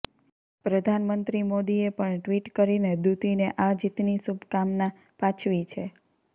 પ્રધાનમંત્રી મોદીએ પણ ટ્વિટ કરીને દુતીને આ જીતની શુભકામના પાછવી છે